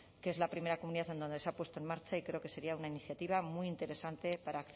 que es la primera comunidad en donde ha puesto en marcha y creo que sería una iniciativa muy interesante para